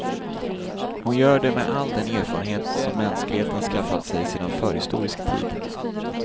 Hon gör det med all den erfarenhet som mänskligheten skaffat sig sedan förhistorisk tid.